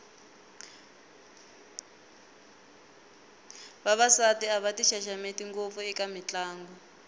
vavasati a va ti xaxameti ngopfu eka mitlangu